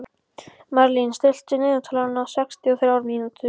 Marlín, stilltu niðurteljara á sextíu og þrjár mínútur.